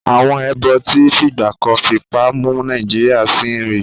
Àwọn èèbó tí fìgbà kan fipá mú Nàìjíríyà sìn rí